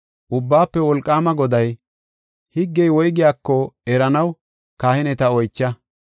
Ubbaafe Wolqaama Goday, “Higgey woygiyako eranaw kahineta oycha.